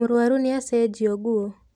Mũrũaru nĩ acĩgio nguũ.